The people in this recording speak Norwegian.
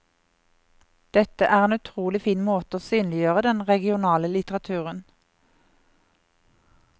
Dette er en utrolig fin måte å synliggjøre den regionale litteraturen.